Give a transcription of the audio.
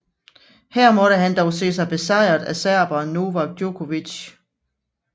Her måtte han dog se sig besejret af serberen Novak Djokovic